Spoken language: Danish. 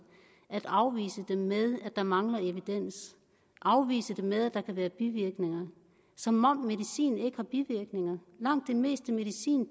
at afvise dem med at der mangler evidens afvise dem med at der kan være bivirkninger som om medicin ikke har bivirkninger langt det meste medicin